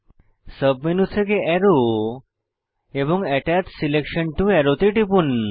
submenu থেকে আরো এবং আত্তাচ সিলেকশন টো আরো তে টিপুন